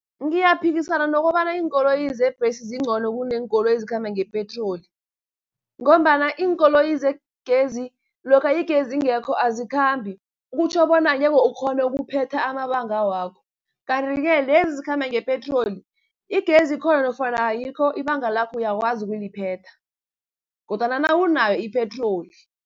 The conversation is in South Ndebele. Ngiyaphikisana nokobana iinkoloyi zebhesi zincono kuneenkoloyi ezikhamba ngepetroli, ngombana iinkoloyi zegezi lokha igezi ingekho azikhambi, kutjho bona ngeze ukghone ukuphetha amabanga wakho, Kanti-ke lezi ezikhamba ngepetroli, igezi ikhona nofana ayikho ibanga lakho uyakwazi ukuliphetha, kodwana nawunayo ipetroli.